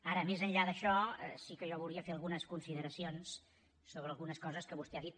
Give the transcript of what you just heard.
ara més enllà d’això sí que jo volia fer algunes consideracions sobre algunes coses que vostè ha dit